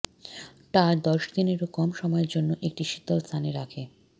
টা দশ দিনেরও কম সময়ের জন্য একটি শীতল স্থানে রাখে